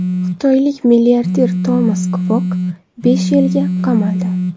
Xitoylik milliarder Tomas Kvok besh yilga qamaldi.